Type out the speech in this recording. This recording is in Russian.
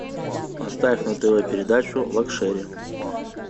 поставь на тв передачу лакшери